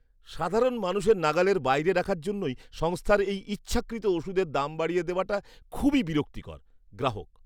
সাধারণ মানুষের নাগালের বাইরে রাখার জন্যই সংস্থার এই ইচ্ছাকৃত ওষুধের দাম বাড়িয়ে দেওয়াটা খুবই বিরক্তিকর। গ্রাহক